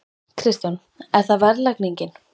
Kristján: Er það verðlagningin?